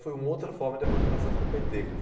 Foi uma outra forma de aproximação com o pê tê. Quer dizer,